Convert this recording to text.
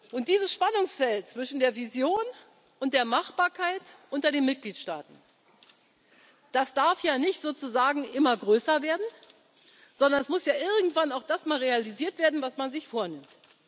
Und dieses Spannungsfeld zwischen der Vision und der Machbarkeit unter den Mitgliedstaaten darf ja nicht sozusagen immer größer werden, sondern es muss ja irgendwann auch das mal realisiert werden, was man sich vornimmt.